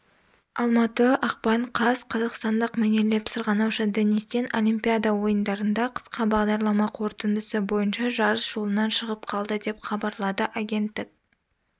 алматы ақпан қаз қазақстандық мәнерлеп сырғанаушы денис тен олимпиада ойындарында қысқа бағдарлама қорытындысы бойынша жарыс жолынан шығып қалды деп хабарлады агенттік